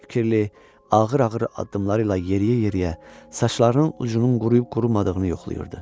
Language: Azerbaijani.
Fikirli, ağır-ağır addımlarıyla yeriyə-yeriyə saçlarının ucunun quruyub qurumadığını yoxlayırdı.